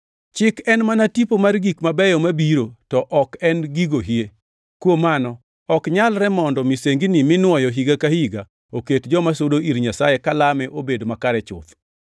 Chik en mana tipo mar gik mabeyo mabiro to ok en gigo hie. Kuom mano ok nyalre mondo misengini minuoyo higa ka higa oket joma sudo ir Nyasaye kalame obed makare chuth.